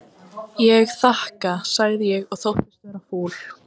Ég þakka sagði ég og þóttist vera fúl.